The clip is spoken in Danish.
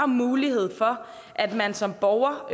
mulighed for at man som borger